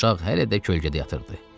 Uşaq hələ də kölgədə yatırdı.